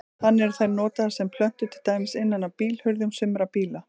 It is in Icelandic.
Þannig eru þær notaðar sem plötur til dæmis innan á bílhurðum sumra bíla.